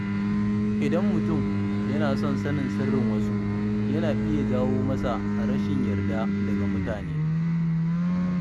Idan mutum yana son sanin sirrin wasu, yana iya jawo masa rashin yarda daga mutane.